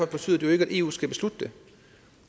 betyder jo ikke at eu skal beslutte det